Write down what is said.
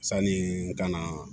Sanni n ka na